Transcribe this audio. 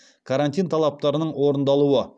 карантин талаптарының орындалуы